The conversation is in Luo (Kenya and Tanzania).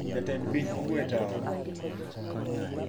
Jatend piny ogwe tao